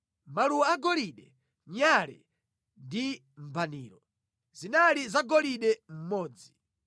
maluwa agolide, nyale ndi mbaniro. (Zinali zagolide mmodzi);